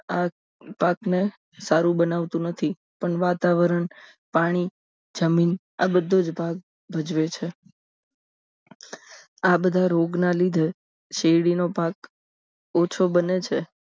આ પાક ને સારું બનાવતું નથી પણ વાતાવરણ પાણી જમીન આ બધું જ ભાગ ભજવે છે આ બધા રોગના લીધે શેરડીનો ભાગ ઓછો બને છે